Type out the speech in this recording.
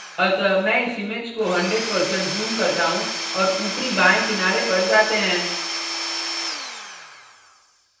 अतः मैं इस image को 100% zoom करता हूँ और ऊपरी बाएं किनारे पर जाते हैं